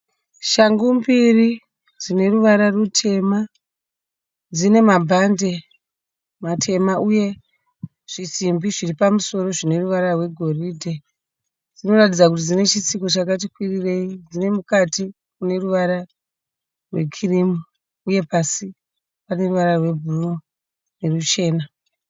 Shangu mbiri dzine ruvara rutema. Dzine mabhande matema uye zvisimbi zviri pamusoro zvine ruvara rwegoridhe. Dzinoratidza kuti dzine chitsiko chakati kwirirei. Dzine mukati mune ruvara rwekirimu uye pasi pane ruvara rwebhuruu neruchena.